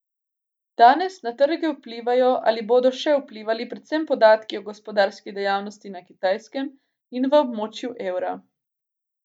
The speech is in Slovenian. Danes na trge vplivajo ali bodo še vplivali predvsem podatki o gospodarski dejavnosti na Kitajskem in v območju evra.